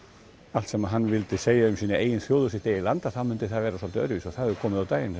allt sem hann vildi segja um sína eigin þjóð og sitt eigið land þá myndi það vera svolítið öðruvísi og það hefur komið á daginn